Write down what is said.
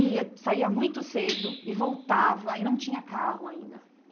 E saía muito cedo e voltava e não tinha carro ainda.